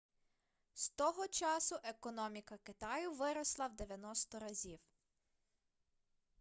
з того часу економіка китаю виросла в 90 разів